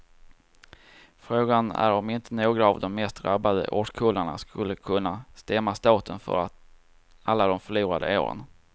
Frågan är om inte några av de mest drabbade årskullarna skulle kunna stämma staten för alla de förlorade åren.